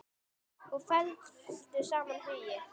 Og felldu saman hugi.